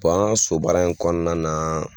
an ka sobaara in kɔnɔna na